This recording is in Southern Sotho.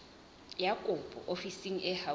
ya kopo ofising e haufi